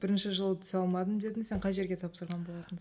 бірінші жылы түсе алмадым дедің сен қай жерге тапсырған болатынсың